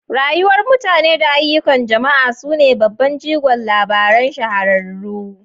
Rayuwar mutane da ayyukan jama'a su ne babban jigon labaran shahararru.